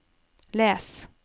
les